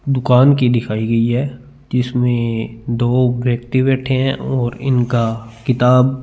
दुकान की दिखाई गयी है जिसमे दो व्यक्ति बैठे है और इनका किताब--